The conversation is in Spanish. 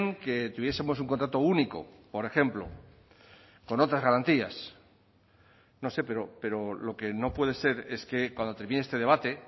que tuviesemos un contrato único por ejemplo con otras garantías no sé pero lo que no puede ser es que cuando termine este debate